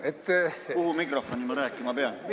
Kuhu mikrofoni ma rääkima pean?